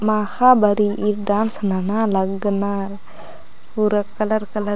माखाआ बरई ई डांन्स नना लग्नअर पूरा कलर कलर --